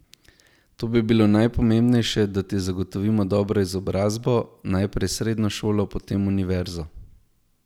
To bi bilo najpomembnejše, da ti zagotovimo dobro izobrazbo, najprej srednjo šolo, potem univerzo.